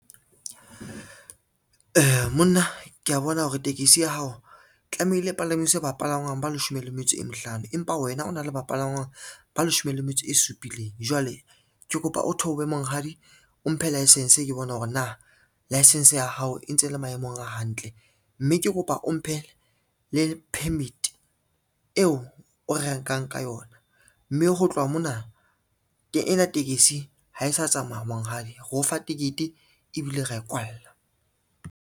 Monna kea bona hore tekesi ya hao tlamehile e palangwise bapalangwa ba leshome le metso e mehlano, empa wena o na le bapalangwang ba leshome le metso e supileng. Jwale ke kopa o theohe monghadi o mphe license ke bona hore na license ya hao e ntse le maemong a hantle, mme ke kopa o mphe le permit eo o renkang ka yona, mme ho tloha mona ena tekesi ha e sa tsamaya monghadi, re o fa tekete ebile ra e kwalla.